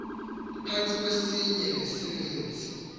phantsi kwesinye nesininzi